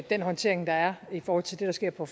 den håndtering der er i forhold til det der sker på